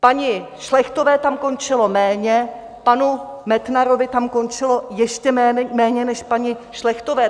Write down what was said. Paní Šlechtové tam končilo méně, panu Metnarovi tam končilo ještě méně než paní Šlechtové.